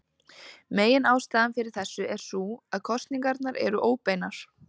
Meginástæðan fyrir þessu er sú að kosningarnar eru óbeinar.